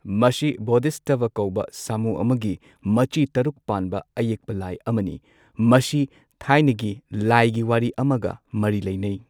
ꯃꯁꯤ ꯕꯣꯙꯤꯁꯠꯇꯚ ꯀꯧꯕ ꯁꯥꯃꯨ ꯑꯃꯒꯤ ꯃꯆꯤ ꯇꯔꯨꯛ ꯄꯥꯟꯕ ꯑꯌꯦꯛꯄ ꯂꯥꯏ ꯑꯃꯅꯤ, ꯃꯁꯤ ꯊꯥꯏꯅꯒꯤ ꯂꯥꯏꯒꯤ ꯋꯥꯔꯤ ꯑꯃꯒ ꯃꯔꯤ ꯂꯩꯅꯩ꯫